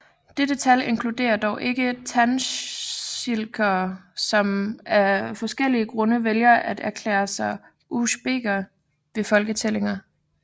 Dette tal inkluderer dog ikke tadsjikere som af forskellige grunde vælger at erklære sig for usbeker ved folketællinger